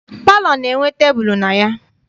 Palọ na- enwe tebulu na ya.